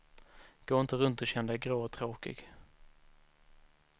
Gå inte runt och känn dig grå och tråkig.